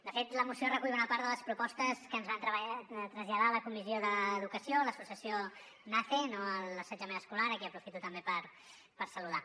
de fet la moció recull bona part de les propostes que ens va traslladar a la comissió d’educació l’associació nace no a l’assetjament escolar a qui aprofito també per saludar